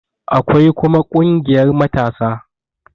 Akwai kuma ƙungiyar matasa